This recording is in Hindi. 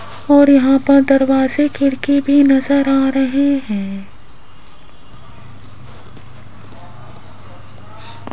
और यहां पर दरवाजे खिड़की भी नजर आ रहे हैं।